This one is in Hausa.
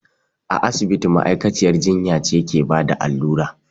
A asibiti ma'aikaciyar jinya ce ke bada allura